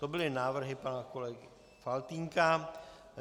To byly návrhy pana kolegy Faltýnka.